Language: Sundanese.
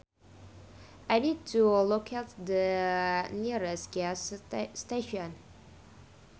I need to locate the nearest gas station